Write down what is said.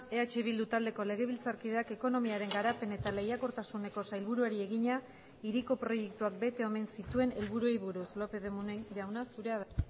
eh bildu taldeko legebiltzarkideak ekonomiaren garapen eta lehiakortasuneko sailburuari egina hiriko proiektuak bete omen zituen helburuei buruz lópez de munain jauna zurea da